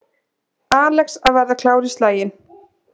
Alex að verða klár í slaginn